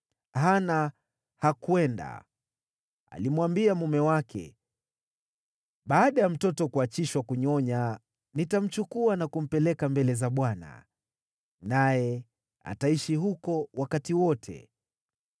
Hana hakwenda. Alimwambia mume wake, “Baada ya mtoto kuachishwa kunyonya, nitamchukua na kumpeleka mbele za Bwana , naye ataishi huko wakati wote.”